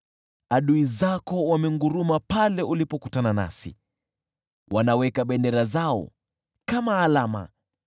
Adui zako wamenguruma pale ulipokutana nasi, wanaweka bendera zao kama alama.